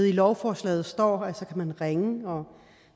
i lovforslaget står at så kan man ringe og